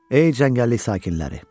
Ey cəngəllik sakinləri.